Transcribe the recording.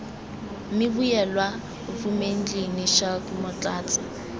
mme vuyelwa vumendlini schalk motlatsa